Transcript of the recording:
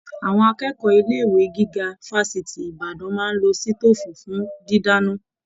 Àwọn akẹ́kọ̀ọ́ ilé ìwé gíga fafiti Ìbàdàn máa n ló sitofu fún didana.